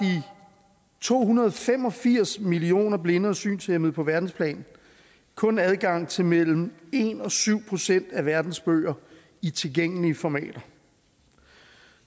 to hundrede og fem og firs millioner blinde og synshæmmede på verdensplan kun adgang til mellem en og syv procent af verdens bøger i tilgængelige formater